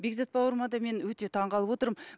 бекзат бауырыма да мен өте таңғалып отырмын